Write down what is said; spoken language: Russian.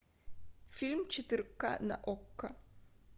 фильм четыре ка на окко